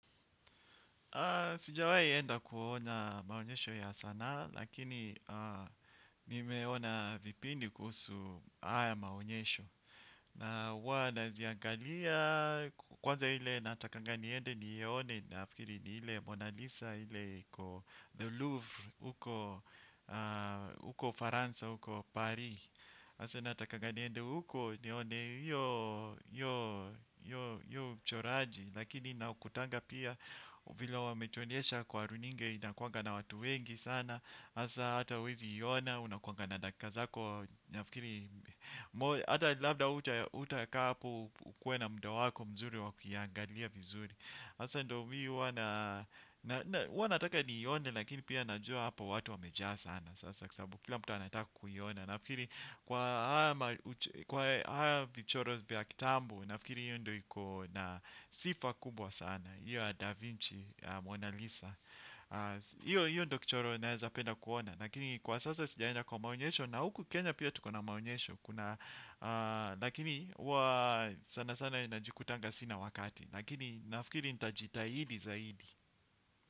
Sijawahi enda kuona maonyesho ya sanaa, lakini nimeona vipindi kuhusu haya maonyesho. Na huwa naziangalia kwanza ile natakanga niende niione naafikiri ni ile Mona Lisa ile iko The Louvre uko Ufaransa uko Paris. Hasa natakanga niende huko nione hio uchoraji, lakini nakutanga pia vile wametuonesha kwa runinga inakuanga na watu wengi sana hasa hata huwezi iona unakuanga na dakkika zako nafikiri. Hata labda hutakaa hapo ukuwe na muda wako mzuri wa kuiangalia vizuri hasa ndio mimi huwa nataka niione lakini pia najua hapa watu wamejaa sana sasa kwa sababu kila mtu anataka kuiona. Nafikiri kwa haya kwa haya vichoro vya kitambo nafikiri hiyo ndio iko na sifa kubwa sana, hiyo ya Da Vinci, ya Mona Lisa hiyo ndio kichoro nawezapenda kuona. Lakini kwa sasa sijaenda kwa maonyesho. Na huku Kenya pia tuko na maonyesho, lakini sana sana najikutanga sina wakati. Lakini nafikiri nitajitahidi zaidi.